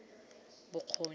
bokgoni